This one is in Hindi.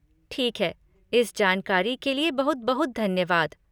ठीक है, इस जानकारी के लिए बहुत बहुत धन्यवाद।